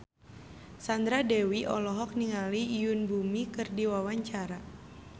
Sandra Dewi olohok ningali Yoon Bomi keur diwawancara